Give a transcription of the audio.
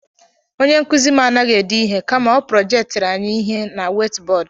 Onye nkụzi m anaghị ede ihe kama ọ projektiri anyị ihe na wait bọọdụ